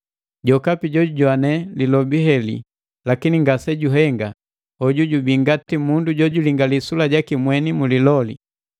Jokapi jojujoane lilobi heli lakini ngasejuhenga, hoju jubii ngati mundu jojulingali sula jaki mweni mu liloli.